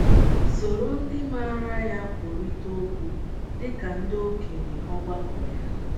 Soro ndị maara ya kwurịta okwu, dị ka ndị okenye ọgbakọ ya.